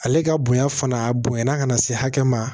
Ale ka bonya fana a bonyana ka na se hakɛ ma